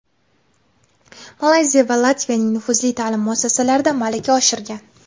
Malayziya va Latviyaning nufuzli ta’lim muassasalarida malaka oshirgan.